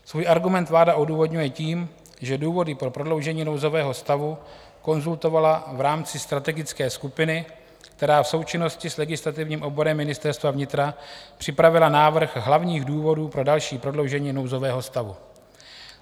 Svůj argument vláda odůvodňuje tím, že důvody pro prodloužení nouzového stavu konzultovala v rámci strategické skupiny, která v součinnosti s legislativním odborem Ministerstva vnitra připravila návrh hlavních důvodů pro další prodloužení nouzového stavu.